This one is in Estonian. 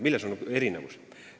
Milles on erinevus?